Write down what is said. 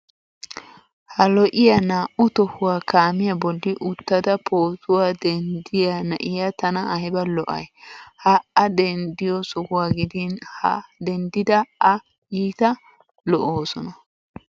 Ha lo"iya naa"u tohuwa kaamiya bolli uttada pootuwa denddiya na'iya tana ayba lo"ay. Ha A dennddiyo suhuwa gidin ha denddida A iita lo"oosona.